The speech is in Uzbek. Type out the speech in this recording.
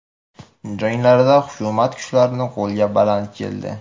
Janglarda hukumat kuchlarining qo‘li baland keldi.